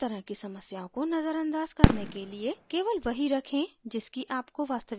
इस तरह की समस्याओं को नजर अंदाज करने के लिए केवल वही रखें जिसकी आपको वास्तविक रूप से आवश्यकता है